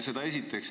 Seda esiteks.